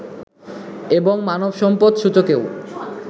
এবং মানব সম্পদ সূচকেও